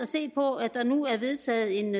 se på at der nu er vedtaget en